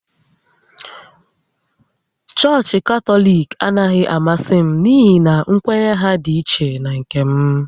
Chọọchị Katọlik anaghị amasị m n’ihi na nkwenye ha dị ichè na nke m